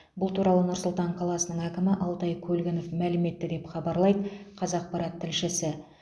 бұл туралы нұр сұлтан қаласының әкімі алтай көлгінов мәлім етті деп хабарлайды қазақпарат тілшісі